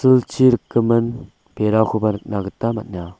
rikgimin berakoba nikna gita man·a.